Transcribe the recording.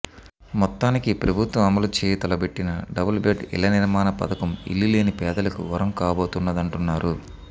మొత్తానికి ప్రభుత్వం అమలు చేయతలపెట్టిన డబుల్ బెడ్ ఇళ్ల నిర్మాణ పథకం ఇళ్లు లేని పేదలకు వరం కాబోతున్నదంటున్నారు